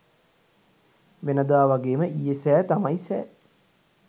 වෙනදා වගේම ඊයේ සෑ තමයි සෑ.